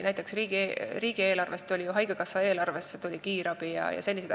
Riigieelarvest tuli ju haigekassa eelarvesse kiirabi jms.